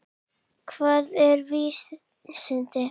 Hvað eru vísindi?